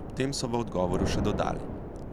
Ob tem so v odgovoru še dodali,